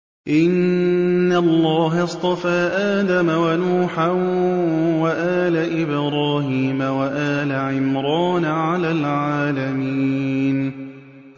۞ إِنَّ اللَّهَ اصْطَفَىٰ آدَمَ وَنُوحًا وَآلَ إِبْرَاهِيمَ وَآلَ عِمْرَانَ عَلَى الْعَالَمِينَ